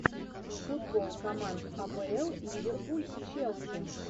футбол команд апл ливерпуль челси